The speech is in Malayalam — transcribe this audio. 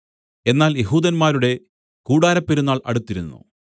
എന്നാൽ യെഹൂദന്മാരുടെ കൂടാരപ്പെരുന്നാൾ അടുത്തിരുന്നു